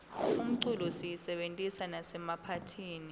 umculo siyisebentisa nasemaphatihni